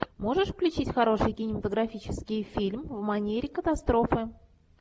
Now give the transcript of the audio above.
можешь включить хороший кинематографический фильм в манере катастрофы